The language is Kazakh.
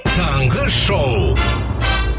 таңғы шоу